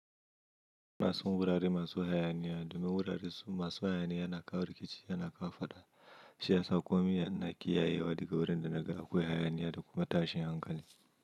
Masu wurare masu hayaniya domin wurare masu hayaniya na kawo rikici, yana kawo fada, siyasa kwami, na kiyayewa daga wurin da nagara akwai hayaniya da kuma tashin hankali.